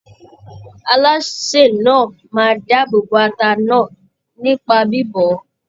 Alásè náà máa dáàbòbo ata náà nípa bíbọ̀ ọ́.